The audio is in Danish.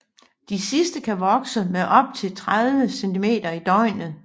De sidste kan vokse med op til 30 centimeter i døgnet